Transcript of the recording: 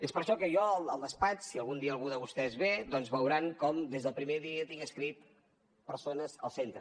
és per això que jo al despatx si algun dia algú de vostès ve doncs veuran com des del primer dia hi tinc escrit persones al centre